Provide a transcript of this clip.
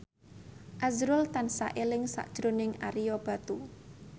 azrul tansah eling sakjroning Ario Batu